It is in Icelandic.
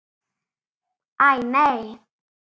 Æ, nei.